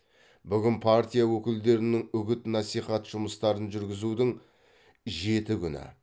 бүгін партия өкілдерінің үгіт насихат жұмыстарын жүргізудің жеті күні